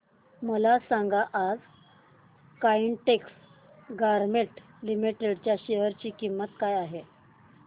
मला सांगा आज काइटेक्स गारमेंट्स लिमिटेड च्या शेअर ची किंमत काय आहे